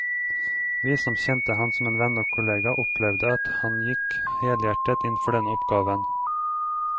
Vi som kjente ham som venn og kollega, opplevde at han gikk helhjertet inn for denne oppgaven.